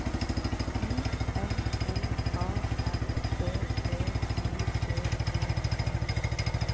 I N N A R B E I D E T